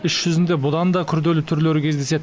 іс жүзінде бұдан да күрделі түрлері кездеседі